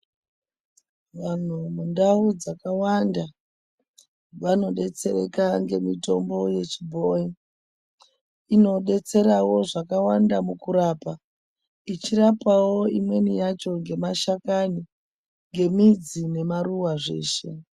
Vantu mundau dzakawanda vanodetsereka ngemitombo yechibhoyi. Inodetsera wo zvakawanda mukurapa. Ichirapa wo imweni yacho ngemashakani, ngemidzi nemaruwa zveshe.